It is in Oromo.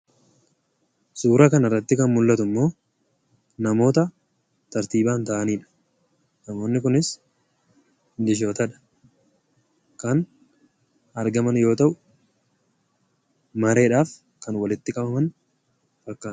Suura kanarratti kan mul'atummoo namoota tartiibaan taa'aniidha. Namoonni kunis milishootadha. Namoonni kunis kan mareedhaaf walitti qabaman fakkaatu.